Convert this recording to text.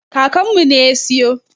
Kakanmu ne ya siyo.